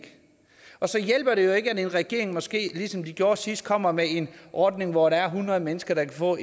og så hjælper det jo ikke at en regering måske ligesom de gjorde sidst kommer med en ordning hvor der er hundrede mennesker der kan få